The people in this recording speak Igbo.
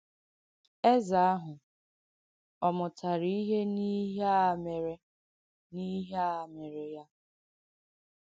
Ezé àhū̀ ọ̀ mụ̀tàrà ihe n’ìhè̀ a mèré n’ìhè̀ a mèré ya?